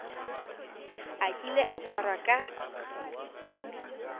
a kile a tshwarwa ka